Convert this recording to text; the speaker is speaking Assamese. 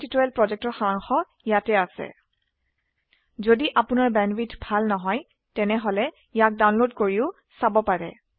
কথন শিক্ষণ প্ৰকল্পৰ সাৰাংশ ইয়াত আছে যদি আপোনাৰ বেন্দৱিথ ভাল নহয় তেনেহলে ইয়াক ডাউনলোড কৰি চাব পাৰে